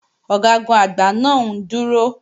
Ọ̀gágun-Àgbá náà ń dúró